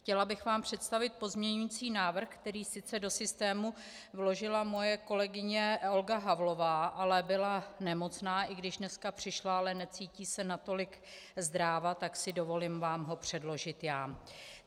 Chtěla bych vám představit pozměňovací návrh, který sice do systému vložila moje kolegyně Olga Havlová, ale byla nemocná, i když dneska přišla, ale necítí se natolik zdráva, tak si dovolím vám ho předložit já.